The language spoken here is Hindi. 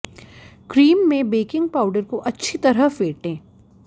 क्रीम में बेकिंग पावडर को अच्छी तरह फेंटें